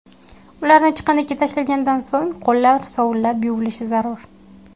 Ularni chiqindiga tashlagandan so‘ng qo‘llar sovunlab yuvilishi zarur.